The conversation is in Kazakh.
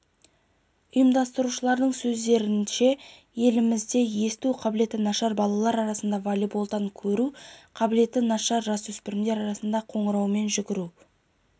ұйымдастырушылардың сөздерінше елімізде есту қабілеті нашар балалар арасында волейболдан көру қабілеті нашар жасөспірімдер арасында қоңыраумен жүгіруден